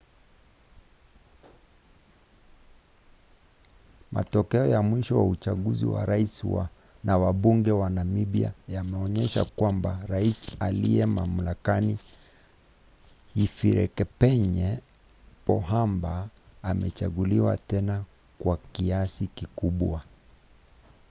matokeo ya mwisho ya uchaguzi wa rais na wabunge wa namibia yameonyesha kwamba rais aliye mamlakani hifikepunye pohamba amechaguliwa tena kwa kiasi kikubwa